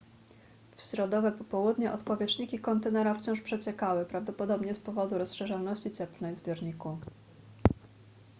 w środowe popołudnie odpowietrzniki kontenera wciąż przeciekały prawdopodobnie z powodu rozszerzalności cieplnej w zbiorniku